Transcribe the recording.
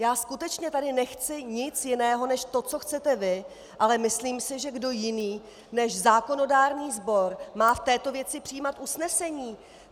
Já skutečně tady nechci nic jiného než to, co chcete vy, ale myslím si, že kdo jiný než zákonodárný sbor má v této věci přijímat usnesení?